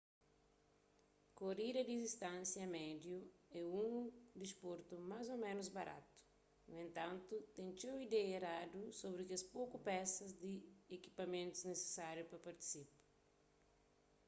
korida di distánsia médiu é un disportu más ô ménus baratu nu entantu ten txeu ideia eradu sobri kes poku pesas di ekipamentus nisisáriu pa partisipa